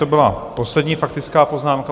To byla poslední faktická poznámka.